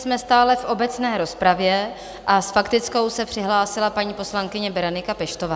Jsme stále v obecné rozpravě a s faktickou se přihlásila paní poslankyně Berenika Peštová.